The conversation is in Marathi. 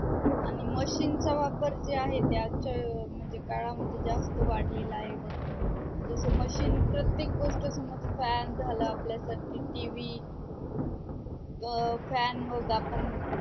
आणि machine चा वापर जे आहे ते आजच्या अं म्हणजे काळामध्ये जास्त वाढलेला आहे बग जस machine प्रत्येक गोष्ट समज fan झाला आपल्या साठी TV अं fan आपण